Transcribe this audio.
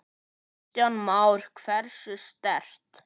Kristján Már: Hversu sterkt?